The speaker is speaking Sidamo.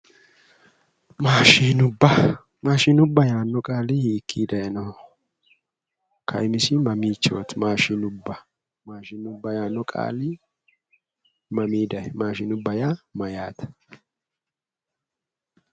Mashinubba, mashinubba yaano qaali hiikki daayinoho, kaimisi mamichoti mashinubba yaano qaali mami daayino, mashinubba yaa mayate ?